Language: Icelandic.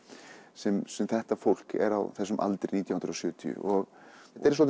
sem sem þetta fólk er á þessum aldri nítján hundruð og sjötíu þetta er